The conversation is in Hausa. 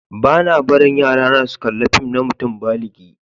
Ba'na barin yarana su kalla fìm na mutum báligi.